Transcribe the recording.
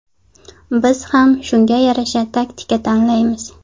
Biz ham shunga yarasha taktika tanlaymiz.